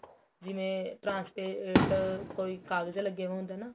trans pate ਕੋਈ ਕਾਗਜ ਲੱਗੇ ਹੁੰਦੇ ਨਾ